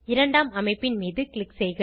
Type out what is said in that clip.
இரண்டாம் அமைப்பின் மீது க்ளிக் செய்க